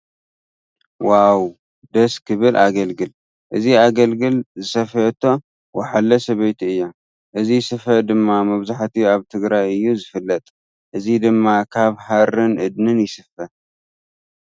ዋው ደስ ክብል ኣገልግል። እዚ ኣገልግል ዝሰፈየቶ ወሓለ ሰበይቲ እያ። እዚ ስፈ ድማ መብዛሕትኡ ኣብ ትግራይ እዩ ዝፍለጥ። እዚ ድማ ካብ ሃርን እድኒን ይስፈ።